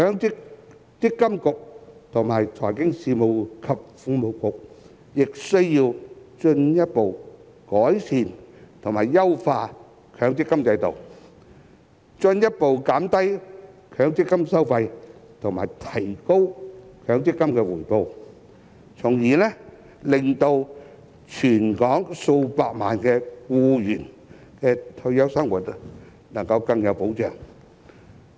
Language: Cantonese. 積金局及財經事務及庫務局亦需要進一步改善及優化強積金制度，進一步減低強積金收費及提高強積金回報，從而令全港數百萬名僱員的退休生活能夠更有保障。